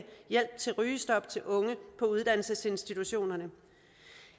hjælp til rygestop til unge på uddannelsesinstitutionerne